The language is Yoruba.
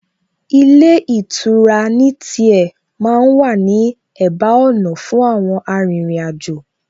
Ilé ìtura ní tiẹ̀ ma ń wà ní ẹ̀bá ọ̀nà fún àwọn arìnrìn-àjò